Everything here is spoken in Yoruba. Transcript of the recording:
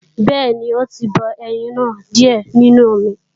Bẹ́ẹ̀ni ó tí bọ ẹyin náà díè nínú omi